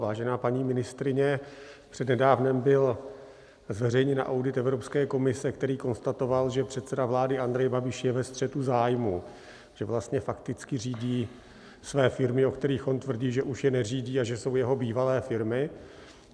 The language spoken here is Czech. Vážená paní ministryně, před nedávnem byl zveřejněn audit Evropské komise, který konstatoval, že předseda vlády Andrej Babiš je ve střetu zájmů, že vlastně fakticky řídí své firmy, o kterých on tvrdí, že už je neřídí a že jsou jeho bývalé firmy.